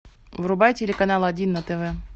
врубай телеканал один на тв